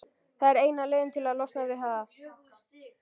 Það er eina leiðin til að losna við það.